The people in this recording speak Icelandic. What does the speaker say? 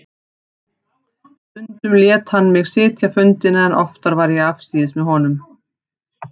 Stundum lét hann mig sitja fundina en oftar var ég afsíðis með honum.